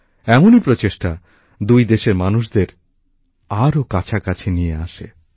এমনই প্রচেষ্টা দুই দেশের মানুষদের আরো কাছাকাছি নিয়ে আসে